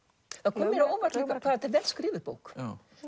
kom mér á óvart hvað þetta er vel skrifuð bók